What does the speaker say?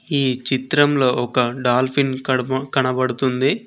ఈ చిత్రంలో ఒక డాల్ఫిన్ కడుపు కనబడుతుంది.